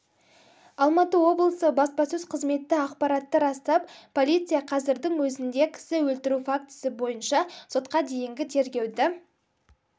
алматы облысы баспасөз қызметі ақпаратты растап полиция қазірдің өзінде кісі өлтіру фактісі бойынша сотқа дейінгі тергеуді